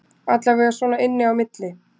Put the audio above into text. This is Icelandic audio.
Allavega svona inni á milli